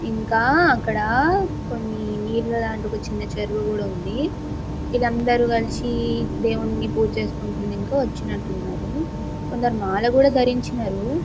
ఇంకా అక్కడ కొన్ని నీళ్ళ లాంటి ఒక చిన్న చెరువు కూడా ఉంది ఇది అందరూ కలిసి దేవుని పూజ చేసుకొనికి వచ్చినట్లున్నారు. కొందరు మాల కూడా ధరించినారు.